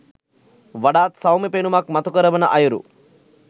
වඩාත් සෞම්‍ය පෙනුමක් මතුකරවන අයුරු